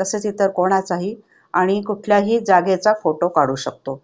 तसेच इतर कोणाचाही आणि कुठल्याही जागेचा photo काढू शकतो.